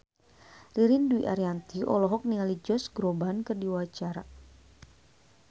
Ririn Dwi Ariyanti olohok ningali Josh Groban keur diwawancara